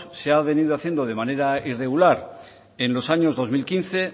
se ha venido haciendo de manera irregular en los años dos mil quince